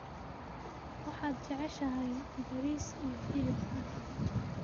waxaad jeceshahay bariis iyo hilib ari